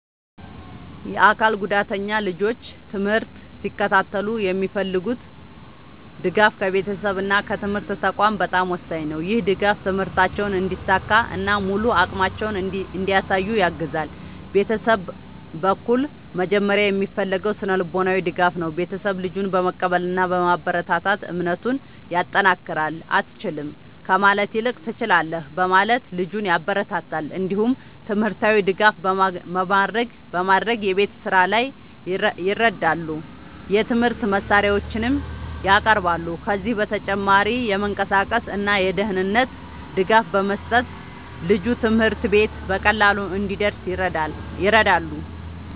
የአካል ጉዳተኛ ልጆች ትምህርት ሲከታተሉ የሚፈልጉት ድጋፍ ከቤተሰብ እና ከትምህርት ተቋማት በጣም ወሳኝ ነው። ይህ ድጋፍ ትምህርታቸውን እንዲሳካ እና ሙሉ አቅማቸውን እንዲያሳዩ ያግዛል። ቤተሰብ በኩል መጀመሪያ የሚፈለገው ስነ-ልቦናዊ ድጋፍ ነው። ቤተሰብ ልጁን በመቀበል እና በማበረታታት እምነቱን ያጠናክራል። “አትችልም” ከማለት ይልቅ “ትችላለህ” በማለት ልጁን ያበረታታል። እንዲሁም ትምህርታዊ ድጋፍ በማድረግ የቤት ስራ ላይ ይረዳሉ፣ የትምህርት መሳሪያዎችንም ያቀርባሉ። ከዚህ በተጨማሪ የመንቀሳቀስ እና የደህንነት ድጋፍ በመስጠት ልጁ ትምህርት ቤት በቀላሉ እንዲደርስ ይረዳሉ።